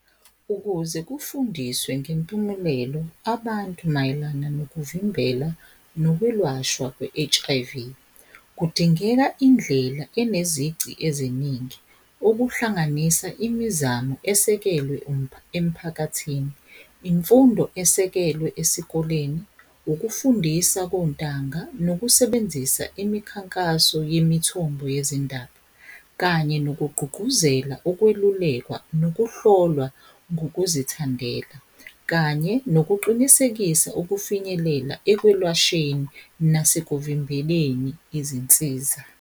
Ukuze kufundiswe ngempumelelo abantu mayelana nokuvimbela nokwelashwa kwe-H_I_V. Kudingeka indlela enezici eziningi okuhlanganisa imizamo esekelwe emphakathini, imfundo esekelwe esikoleni, ukufundisa kontanga nokusebenzisa imikhankaso yemithombo yezindaba kanye nokugqugquzela ukwelulekwa nokuhlolwa ngokuzithandela kanye nokuqinisekisa ukufinyelela ekwelashweni nasekuvimbeleni izinsiza.